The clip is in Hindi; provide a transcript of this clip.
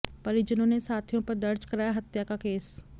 परिजनों ने साथियों पर दर्ज कराया हत्या का केस